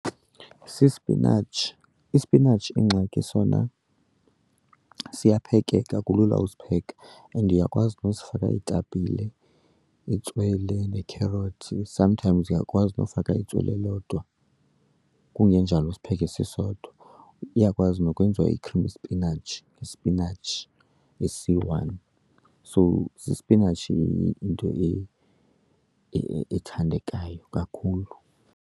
Sispinatshi, isipinatshi ingxaki sona siyaphekeka, kulula usipheka. And uyakwazi nosifaka iitapile, itswele nekherothi, sometimes uyakwazi nofaka itswele lodwa, kungenjalo usipheke sisodwa. Yyakwazi nokwenziwa i-creamy spinach, ispinatshi esiyi-one. So sispinatshi yinto ethathandekayo kakhulu.